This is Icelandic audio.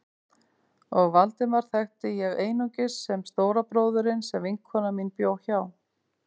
Og Valdemar þekkti ég einungis sem stóra bróðurinn sem vinkona mín bjó hjá.